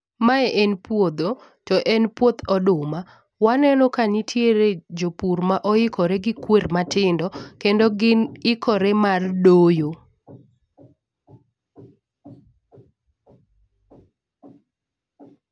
Mae en puodho to en puoth oduma. Waneno ka nitiere jopur ma oikore gi kwer matindo kendo gin ikore mar doyo.